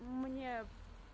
мне